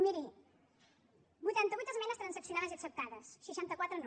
miri vuitanta vuit esmenes transaccionades i acceptades seixanta quatre no